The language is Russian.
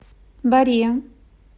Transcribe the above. боре